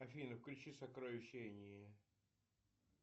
афина включи сокровища энии